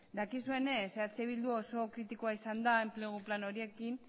dakizuenez eh bildu oso kritikoa izan da enplegu plan horiekin